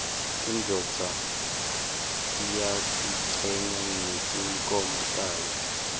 indvodza iyatichenya ngetimkhomo tayo